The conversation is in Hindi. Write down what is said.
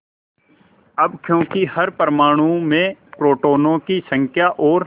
अब क्योंकि हर परमाणु में प्रोटोनों की संख्या और